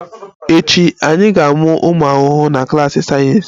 Echi, anyị ga-amụ ụmụ ahụhụ na klas sayensị